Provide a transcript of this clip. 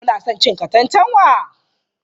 Kuna son cin katantanwa?